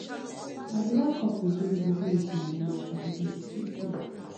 i dey like couple wey dey open wit moni mata e dey sweet me